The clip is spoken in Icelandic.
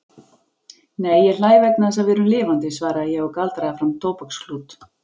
Nei, ég hlæ vegna þess að við erum lifandi svaraði ég og galdraði fram tóbaksklút.